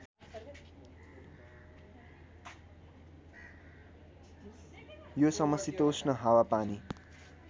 यो समशीतोष्ण हावापानी